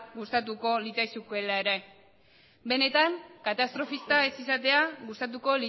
gustatuko litzaizukeela ere benetan katastrofista ez izatea gustatuko